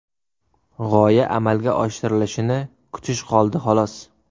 G‘oya amalga oshirilishini kutish qoldi, xolos.